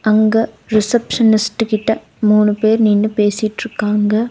அங்க ரிஷப்ஷனிஸ்ட்டு கிட்ட மூணு பேர் நின்னு பேசிட்ருகாங்க.